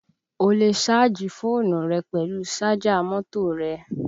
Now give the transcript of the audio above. O lè sáàjì fóònù rẹ pẹ̀lú sájà mọ́tò rẹ